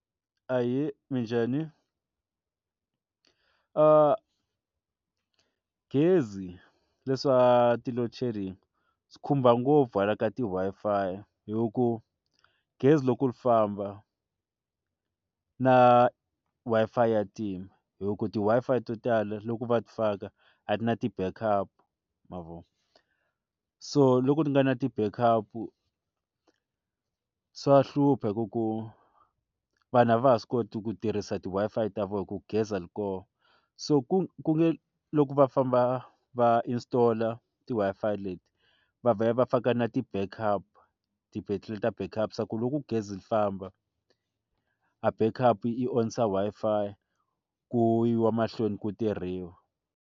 Ahee, minjhani? gezi leswa ti-loadshedding swi khumba ngopfu hala ka ti Wi-Fi hi ku gezi loko ri famba na Wi-Fi ya tima hi ku ti Wi-Fi to tala loko va ti faka a ti na ti-backup ma vo so loko ri nga na ti-backup swa hlupha hi ku ku vanhu a va ha swi koti ku tirhisa ti Wi-Fi ta vona hi ku gezi a ri koho so ku ku nge loko va famba va installer ti Wi-Fi leti va vhe va faka na ti-backup ti-battery backup ku loko gezi ri famba a bank up onisa Wi-Fi ku yiwa mahlweni ku tirhiwa.